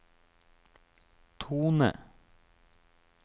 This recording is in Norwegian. tone